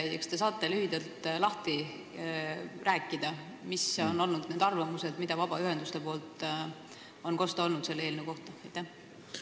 Kui jah, kas te saate lühidalt lahti rääkida, millised on olnud nende arvamused, mida on vabaühendustelt selle eelnõu kohta kosta olnud?